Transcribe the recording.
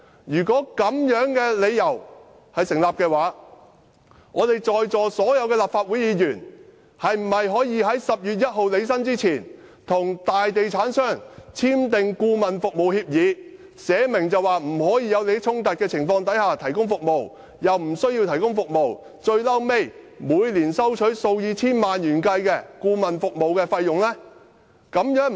"如果這樣的理由也能成立，在座所有立法會議員是否可以在10月1日履新前，與大地產商簽訂顧問服務協議，訂明在沒有利益衝突的情況下提供服務，但無須提供服務，便可每年收取數以千萬元計的顧問服務費用？